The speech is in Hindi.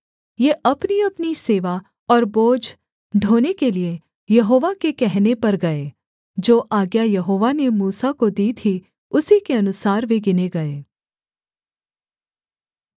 ये अपनीअपनी सेवा और बोझ ढोने के लिए यहोवा के कहने पर गए जो आज्ञा यहोवा ने मूसा को दी थी उसी के अनुसार वे गिने गए